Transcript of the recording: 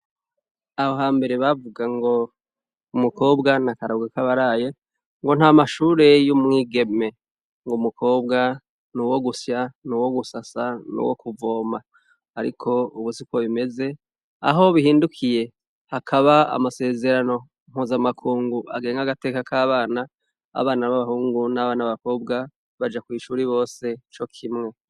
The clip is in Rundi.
Aho ha mbere bavuga ngo: Umukobwa na karago k'abaraye .Ngo nta mashure y'umwigeme ngo mukobwa ni uwo gusya ni uwo gusasa ni uwo kuvoma ,ariko ubusiko bimeze aho bihindukiye hakaba amasezerano nkuzamakungu agenge agateka k'abana . Abana b'abahungu n'abana bakobwa baja ku ishuri bose co kimwe.